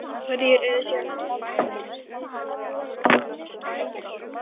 Hverjir eru síðan gjaldgengir til þátttöku í vítaspyrnukeppninni?